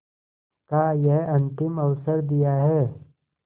का यह अंतिम अवसर दिया है